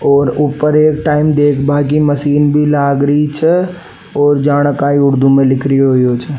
और ऊपर एक टाइम देखबा की मशीन भी लाग री छे और जाने काई उर्दू में लिखा रियो छे।